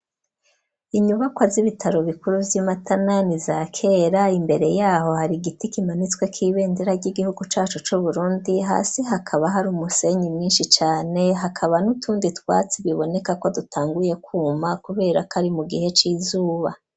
Inyubakwa z'ibitaro bikuru vy'i Matana, ni iza kera; imbere y'aho hari igiti kimanitsweko ibendera ry'igihugu cacu c'Uburundi, hasi hakaba hari umusenyi mwinshi cane, hakaba n'utundi twatsi biboneka ko dutanguye kwuma, kubera ko ari mu gihe c'izuba.